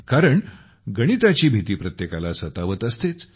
कारण गणिताची भीती प्रत्येकाला सतावत असतेच